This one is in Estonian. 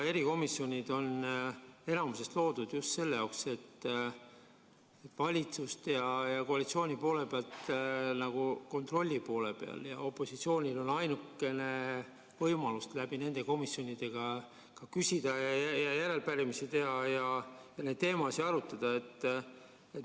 Erikomisjonid on enamasti loodud just sellisena, et valitsus ja koalitsioon on nagu kontrolli poole peal ja opositsioonil on ainukene võimalus nende komisjonide kaudu küsida, järelpärimisi teha ja neid teemasid arutada.